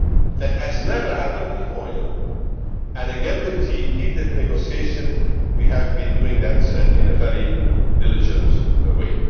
That has never happened before, you know, and again with TTIP negotiations we have been doing that in a very diligent way.